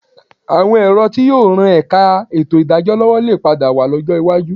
Àwọn ẹ̀rọ tí yóò ran ẹ̀ka ètò ìdájọ́ lọ́wọ́ lè padà wà lọ́jọ́ iwájú